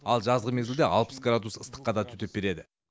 ал жазғы мезгілде алпыс градус ыстыққа да төтеп береді